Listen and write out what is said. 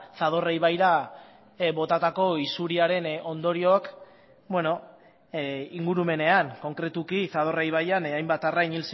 zadorra ibaira botatako isuriaren ondorioak ingurumenean konkretuki zadorra ibaian hainbat arrain